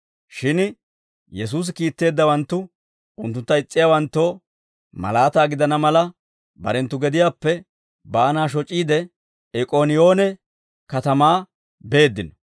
Shin Yesuusi kiitteeddawanttu unttuntta is's'iyaawanttoo malaataa gidana mala, barenttu gediyaappe baanaa shoc'iide, Ik'ooniyoone katamaa beeddino.